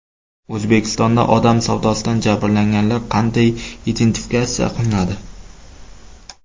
O‘zbekistonda odam savdosidan jabrlanganlar qanday identifikatsiya qilinadi?.